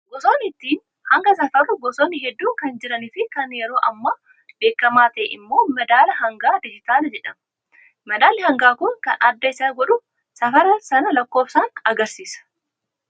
Gosoonni ittiin hanga safarru gosoonni hedduun kan jiranii fi kan yeroo ammaa beekamaa ta'e immoo madaala hangaa dijitaalaa jedhama. Madaali hangaa kun kan adda isa godhu safara sana lakkoofsaan agarsiisa.